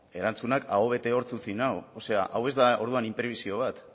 bueno erantzunak aho bete hortz utzi nau o sea hau ez da orduan inprebisio bat